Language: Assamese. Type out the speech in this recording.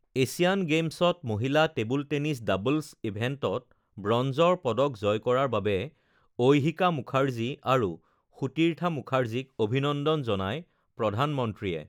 এছিয়ান গেমছত মহিলা টেবুল টেনিছ ডাবলছ ইভেণ্টত ব্ৰঞ্জৰ পদক জয় কৰাৰ বাবে ঐহিকা মুখাৰ্জী আৰু সুতীৰ্থা মুখাৰ্জীক অভিনন্দন জনায় প্ৰধানমন্ত্ৰীয়ে